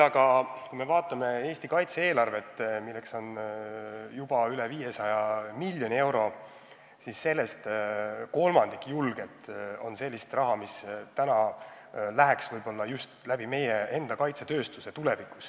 Samas, kui me vaatame Eesti kaitse-eelarvet, mille suurus on juba üle 500 miljoni euro, siis sellest julgelt kolmandik on sellist raha, mis tulevikus läheks võib-olla just meie enda kaudu kaitsetööstusse.